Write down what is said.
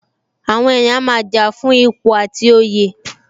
Àwọn èèyàn a máa jà fún ipò àti oyè